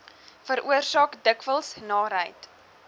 veroorsaak dikwels naarheid